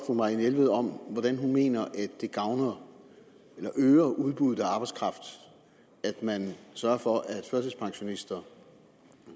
fru marianne jelved om hvordan hun mener at det øger udbuddet af arbejdskraft at man sørger for at førtidspensionister